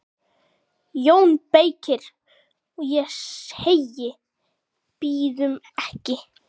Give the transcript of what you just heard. JÓN BEYKIR: Og ég segi: Bíðum ekki!